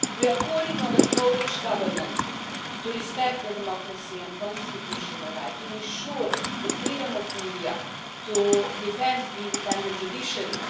We are calling on the Polish Government to respect democracy and constitutional rights, to ensure the freedom of the media and to defend the independent judiciary.